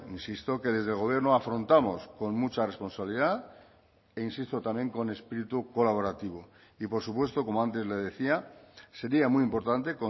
insisto que desde el gobierno afrontamos con mucha responsabilidad e insisto también con espíritu colaborativo y por supuesto como antes le decía sería muy importante